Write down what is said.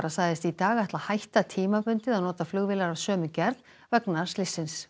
sagðist í dag ætla að hætta tímabundið að nota flugvélar af sömu gerð vegna slyssins